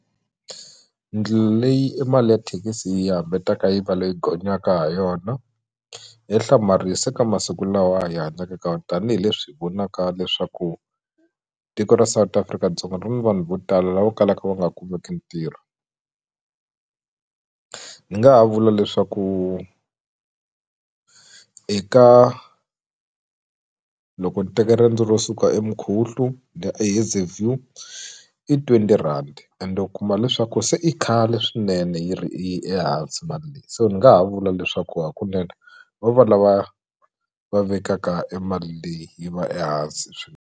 Ndlela leyi e mali ya thekisi yi yi va leyi gonyaka ha yona ya hlamarisa ka masiku lawa hi hanyaka ka wona tanihileswi hi vonaka leswaku tiko ra South Afrika-Dzonga ri ni vanhu vo tala lava kalaka va nga kumeki ntirho ndzi nga ha vula leswaku eka loko ni teka riendzo ro suka eMkhuhlu ndi ya eHayzview i twenty rhandi ende u kuma leswaku se i khale swinene yi ri ehansi mali leyi so ni nga ha vula leswaku hakunene va va lava va vekaka e mali leyi yi va ehansi .